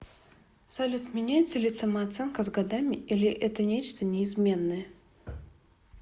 салют меняется ли самооценка с годами или это нечто неизменное